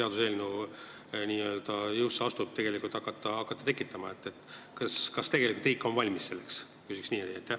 Küsin niimoodi: kas riik on selleks tegelikult valmis?